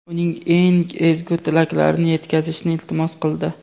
uning eng ezgu tilaklarini yetkazishni iltimos qildi.